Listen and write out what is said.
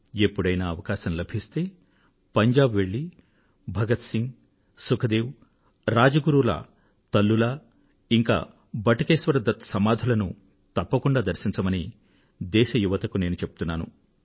ఎప్పుడైనా అవకాశం లభిస్తే పంజాబ్ కు వెళ్ళి భగత్ సింగ్ సుఖ్ దేవ్ రాజ్ గురూ ల మాతృమూర్తులు ఇంకా బటుకేశ్వర్ దత్ సమాధులను దర్శించవలసిందిగా దేశ యువతకు నేను సూచిస్తున్నాను